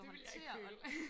det ville jeg ikke føle